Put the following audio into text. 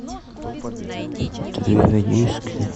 две редиски